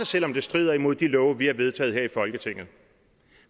selv om det strider imod de love vi har vedtaget her i folketinget